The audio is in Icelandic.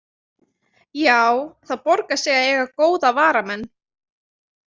Já, það borgar sig að eiga góða varamenn.